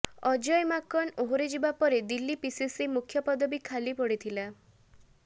ଅଜୟ ମାକନ ଓହରିଯିବା ପରେ ଦିଲ୍ଲୀ ପିସିସି ମୁଖ୍ୟ ପଦବି ଖାଲି ପଡ଼ିଥିଲା